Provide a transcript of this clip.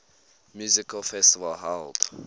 music festival held